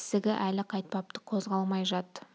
ісігі әлі қайтпапты қозғалмай жат -